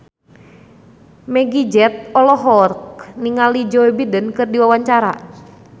Meggie Z olohok ningali Joe Biden keur diwawancara